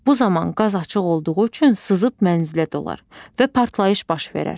Bu zaman qaz açıq olduğu üçün sızıb mənzilə dolar və partlayış baş verər.